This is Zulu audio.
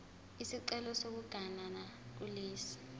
isicelo sokuganana kulesi